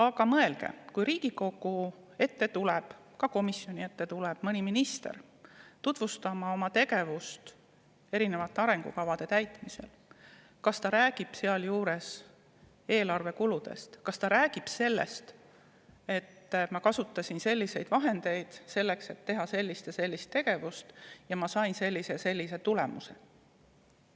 Aga mõelge, kui Riigikogu ette või ka komisjoni ette tuleb mõni minister tutvustama oma tegevust arengukavade täitmisel, siis kas ta räägib sealjuures eelarve kuludest, kas ta räägib sellest, et ma kasutasin selliseid vahendeid selleks, et teha sellist ja sellist tegevust, ning ma sain sellise ja sellise tulemuse.